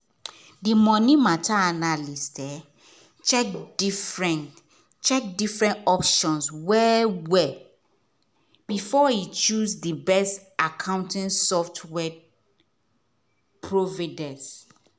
the money matter analyst check different check different options well well before e choose the best accounting software providence